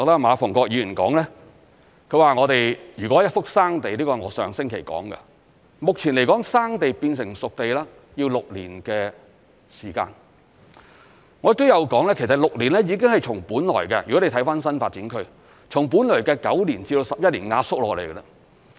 馬逢國議員說，如果是一幅"生地"，這是我上星期說的，目前來說"生地"變成"熟地"要6年時間，我亦有說其實6年已經是從本來的——如果你看新發展區——從本來的9年至11年壓縮下來。